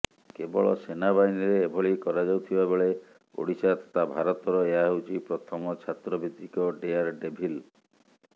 କେବଳ ସେନାବାହିନୀରେ ଏଭଳି କରାଯାଉଥିବା ବେଳେ ଓଡ଼ିଶା ତଥା ଭାରତର ଏହା ହେଉଛି ପ୍ରଥମ ଛାତ୍ରଭିତ୍ତିକ ଡେୟାର ଡେଭିଲ